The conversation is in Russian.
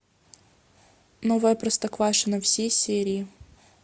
новое простоквашино все серии